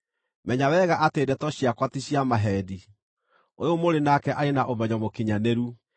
Menya wega atĩ ndeto ciakwa ti cia maheeni; ũyũ mũrĩ nake arĩ na ũmenyo mũkinyanĩru.